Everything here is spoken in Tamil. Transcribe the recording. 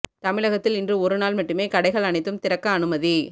தமிழகத்தில் இன்று ஒரு நாள் மட்டுமே கடைகள் அனைத்தும் திறக்க அனுமதி